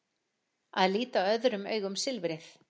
Að líta öðrum augum silfrið